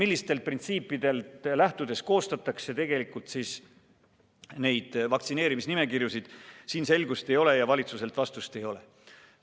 Millistest printsiipidest lähtudes koostatakse vaktsineerimisnimekirjasid, siin selgust ei ole, valitsuselt vastust ei ole.